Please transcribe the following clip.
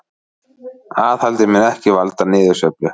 Aðhaldið mun ekki valda niðursveiflu